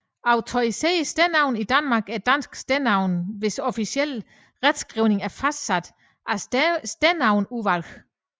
Autoriserede stednavne i Danmark er danske stednavne hvis officielle retskrivning er fastsat af Stednavneudvalget